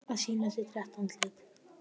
Að sýna sitt rétta andlit